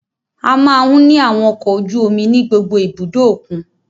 A máa ń ní àwọn ọkọ ojú omi ní gbogbo ibùdó òkun.